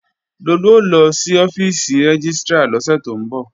Lolú ó lọ sí ọ́fíìsì rẹ́gístrà lọ́sẹ̀ tó ń bọ̀